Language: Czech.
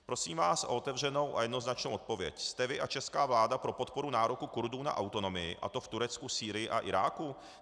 Prosím vás o otevřenou a jednoznačnou odpověď: Jste vy a česká vláda pro podporu nároku Kurdů na autonomii, a to v Turecku, Sýrii a Iráku?